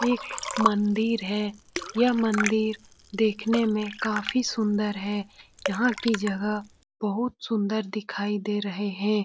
एक मंदिर है यह मंदिर देखेने मे काफी सुंदर है यहाँ की जगह बहुत सुंदर दिखाई दे रहे है।